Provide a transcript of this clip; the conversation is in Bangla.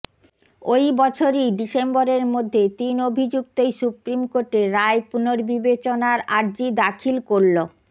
ওই বছরই ডিসেম্বরের মধ্যে তিন অভিযুক্তই সুপ্রিম কোর্টে রায় পুনর্বিবেচনার আর্জি দাখিল করল